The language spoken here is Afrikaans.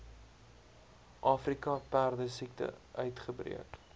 afrika perdesiekte uitgebreek